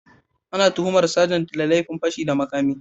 Ana tuhumar sajan ne da laifin fashi da makami